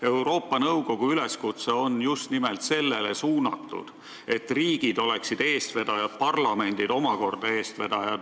Euroopa Nõukogu üleskutse on just nimelt sellele suunatud, et riigid oleksid eestvedajad ja parlamendid omakorda riikides eestvedajad.